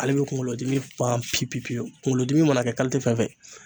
Ale bɛ kunkolodimi ban pe pewu pewu kunkolodimi mana kɛ fɛn fɛn